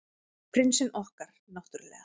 Prinsinn okkar, náttúrlega.